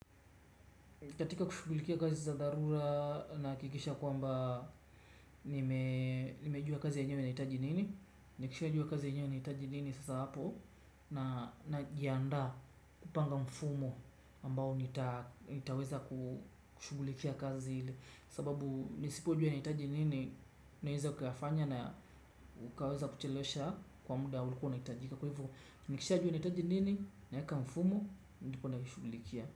Katika kushughulikia kazi za dharura nahakikisha kwamba nimejua kazi yenyewe inahitaji nini. Nikishajua kazi yenyewe nahitaji nini sasa hapo. Najiandaa kupanga mfumo ambao nitaweza kushughulikia kazi hili. Sababu nisipojua inahitaji nini naweza kufanya na ukaweza kuchelesha kwa muda ulikuwa unahitajika. Kwa hivyo nikishajua inahitaji nini naweka mfumo ndipo naishughulikia.